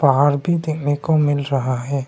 पहाड़ की भी दिखने को मिल रहा है।